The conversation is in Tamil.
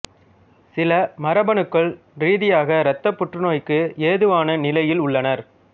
சிலர் மரபணுக்கள் ரீதியாக இரத்தப் புற்றுநோய்க்கு ஏதுவான நிலையில் உள்ளனர்